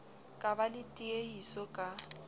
ka ba le tiehiso ka